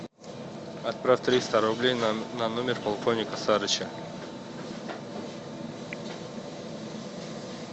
отправь триста рублей на номер полковника сарыча